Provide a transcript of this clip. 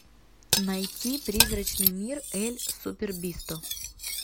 найти призрачный мир эль супербисто